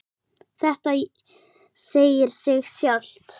Þetta segir sig sjálft.